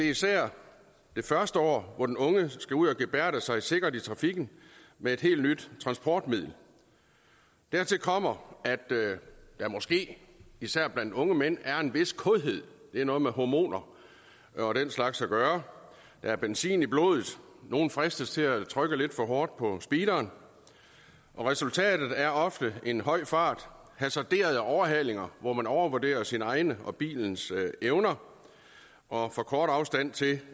især det første år hvor den unge skal ud og gebærde sig sikkert i trafikken med et helt nyt transportmiddel dertil kommer at der måske især blandt unge mænd er en vis kådhed det har noget med hormoner og den slags at gøre der er benzin i blodet og nogle fristes til at trykke lidt for hårdt på speederen resultatet er ofte en høj fart hasarderede overhalinger hvor man overvurderer sine egne og bilens evner og for kort afstand til